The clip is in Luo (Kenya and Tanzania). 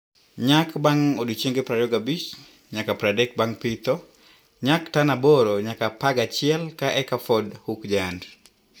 Nyak bang odiochienge prariyo gabich nyaka pradek bang pitho- Nyak: tan aboro nyaka apagachiel ka eka Ford Hook Giant